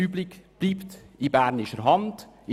Dies ist eine deutliche Absichtserklärung.